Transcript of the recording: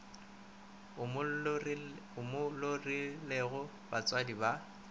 o mo lorilego batswadi ba